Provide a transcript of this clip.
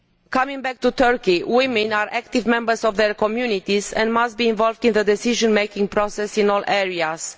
Coming back to Turkey, women are active members of their communities and must be involved in the decision making process in all areas.